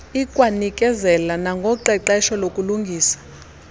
ikwanikezela nangoqeqesho lokulungisa